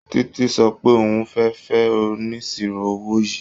Títí sọ pé òun fẹ́ fẹ́ oníṣirò owó yìí.